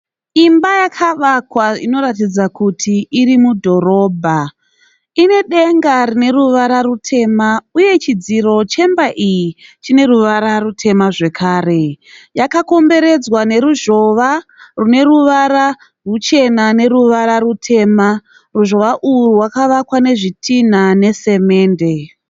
Imba yakawakwa inoratidza kuti irimudhorobha. Inedenga rineruvara rutema uye chidziro chemba iyi chine ruvara rutema zvakare. Yakakomberedzwa neruzhowa rwuneruvara rwuchena neruvara rutema. Ruzhowa urwu rwakavakwa nezvitinha nesamende.